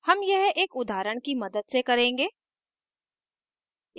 हम यह एक उदाहरण की मदद से करेंगे